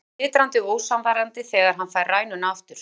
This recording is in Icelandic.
spyr hann titrandi og ósannfærandi þegar hann fær rænuna aftur.